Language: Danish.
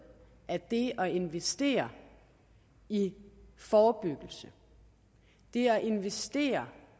at det at investere i forebyggelse det at investere